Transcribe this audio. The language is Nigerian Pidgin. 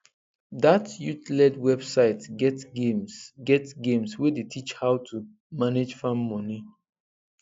that youthled website get games get games wey dey teach how to manage farm money